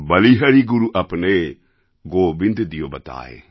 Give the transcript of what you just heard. বলিহারি গুরু আপনে গোবিন্দ দিয়ো বতায়ে